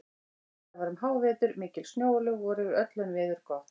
Þetta var um hávetur, mikil snjóalög voru yfir öllu en veður gott.